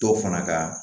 Dɔw fana kaa